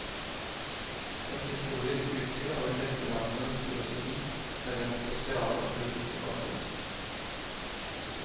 Et historisk utsyn over vesterlandenes filosofi med dens sosiale og politiske bakgrunn.